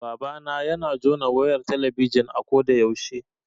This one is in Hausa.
Babana yana jona wayar talabijin a ko da yaushe